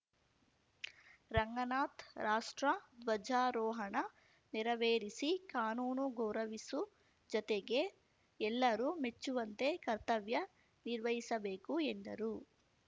ರಂಗನಾಥ್‌ ರಾಷ್ಟ್ರ ಧ್ವಜಾರೋಹಣ ನೆರವೇರಿಸಿ ಕಾನೂನು ಗೌರವಿಸು ಜತೆಗೆ ಎಲ್ಲರೂ ಮೆಚ್ಚುವಂತೆ ಕರ್ತವ್ಯ ನಿರ್ವಹಿಸಬೇಕು ಎಂದರು